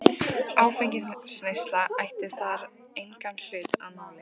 Áfengisneysla ætti þar engan hlut að máli.